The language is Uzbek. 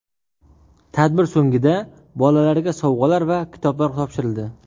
Tadbir so‘nggida bolalarga sovg‘alar va kitoblar topshirildi.